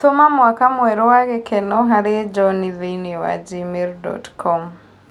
Tũma mũaka mwerũ wa gĩkeno harĩ john thĩini wa gmail dot com